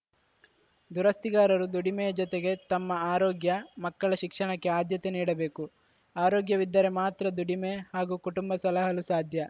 ದುರಸ್ತಿಗಾರರು ದುಡಿಮೆಯ ಜೊತೆಗೆ ತಮ್ಮ ಆರೋಗ್ಯ ಮಕ್ಕಳ ಶಿಕ್ಷಣಕ್ಕೆ ಆದ್ಯತೆ ನೀಡಬೇಕು ಆರೋಗ್ಯವಿದ್ದರೆ ಮಾತ್ರ ದುಡಿಮೆ ಹಾಗೂ ಕುಟುಂಬ ಸಲಹಲು ಸಾಧ್ಯ